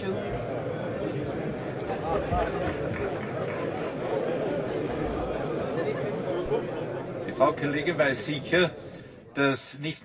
Die Frau Kollegin weiß sicher, dass nicht nur die Niederlande, sondern sämtliche EU Staaten Auslieferungsabkommen mit den USA haben.